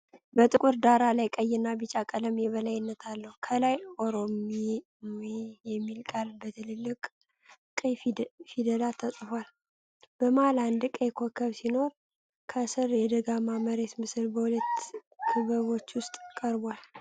በጥቁር ዳራ ላይ ቀይና ብጫ ቀለም የበላይነት አለው። ከላይ "ኦሮማይ የሚል ቃል በትልልቅ ቀይ ፊደላት ተጽፏል። በመሃል አንድ ቀይ ኮከብ ሲኖር፣ ከሥር የደጋማ መሬት ምስል በሁለት ክበቦች ውስጥ ቀርቧል።